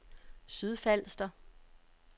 Sydfalster